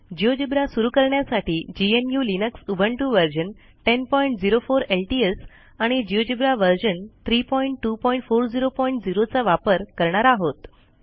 GeoGebra सुरू करण्यासाठी GNU Linux Ubuntu version 1004 LTS आणि जिओजेब्रा व्हर्शन 32400 चा वापर करणार आहोत